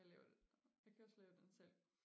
Jeg laver den jeg skal også lave den selv